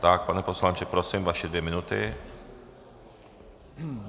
Tak pane poslanče, prosím vaše dvě minuty.